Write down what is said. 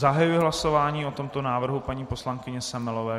Zahajuji hlasování o tomto návrhu paní poslankyně Semelové.